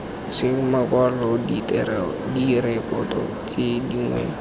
seng makwalo direkoto tse dingwe